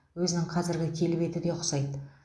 өзінің қазіргі келбеті де ұқсайды